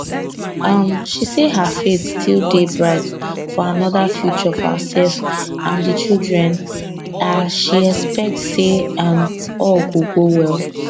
um she say her faith still dey bright for anoda future for herself and di children a she expect say um all go go well